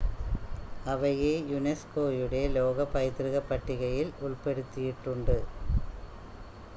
അവയെ യുനെസ്കോയുടെ ലോക പൈതൃക പട്ടികയിൽ ഉൾപ്പെടുത്തിയിട്ടുണ്ട്